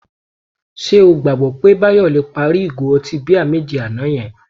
Ṣé o gbàgbọ́ pé Báyọ̀ le parí ìgò ọtí bíà méje àná yẹn?